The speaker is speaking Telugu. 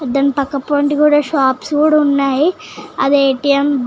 దాని పక్కపొంటి కూడా షాప్స్ కూడా ఉన్నాయి అది ఏ.టీ.ఎం .